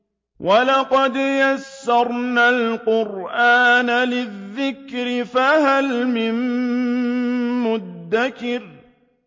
وَلَقَدْ يَسَّرْنَا الْقُرْآنَ لِلذِّكْرِ فَهَلْ مِن مُّدَّكِرٍ